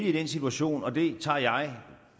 i den situation og det tager jeg